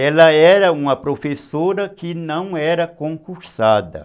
Ela era uma professora que não era concursada.